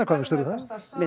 hvað finnst